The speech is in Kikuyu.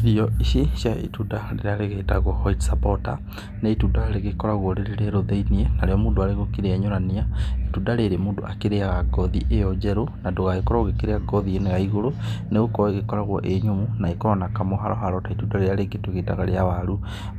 Irio ici cia itunda rĩrĩa rĩgĩtagwo white supporter nĩ itunda rĩgĩkoragwo rĩrĩ rĩerũ thĩiniĩ na rĩo mũndũ arĩgũkĩrĩenyũrania, itunda rĩrĩ mũndũ akĩriaga ngothi ĩyo njerũ na ndũgagĩkorwo ũgĩkĩrĩa ngothi ĩno ya igũrũ nĩ gũkorwo ĩkoragwo ĩ nyũmũ na ĩkoragwo na kamũharaharo ta itunda rĩrĩa rĩngĩ tũgĩtaga rĩa waru.